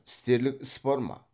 істерлік іс бар ма